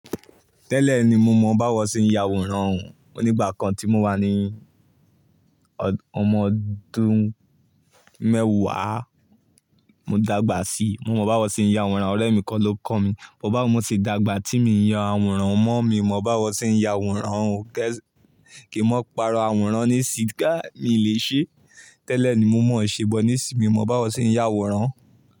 Tẹ́lẹ̀ ni mo mọ báwo ṣe ń ya àwòrán òhún. Onígbà kan tí mo wà ní ọmọ ọdún mẹ́wàá, mo dàgbà sí i. Mo mọ báwo ṣe ń ya àwòrán, ọ̀rẹ́ mi kan ló kọ́ mi. Wo bá awon omo ṣe dàgbà tí mi ń yan àwòrán mọ́, mi mọ báwo ṣe ń ya àwòrán òhún kí n má parọ àwòrán ní ìsì, ká mi lè ṣe. Tẹ́lẹ̀ ni mọ́o se but nsì mi mọ báwo ṣe ń ya àwòrán.